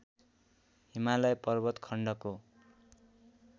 हिमालय पर्वत खण्डको